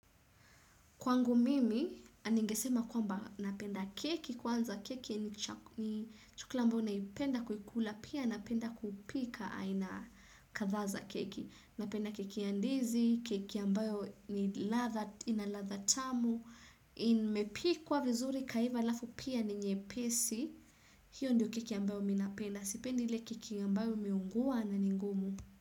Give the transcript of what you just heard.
Kwangu mimi, ningesema kwamba napenda keki, kwanza keki ni chakula ambao naipenda kukula, pia napenda kupika aina kadhaa za keki. Napenda keki ya ndizi, keki ambayo ina ladha tamu, imepikwa vizuri ikaiva alafu pia ni nyepesi, hiyo ndiyo keki ambayo mimi napenda. Sipendi ile keki ambayo imeungua na ni ngumu.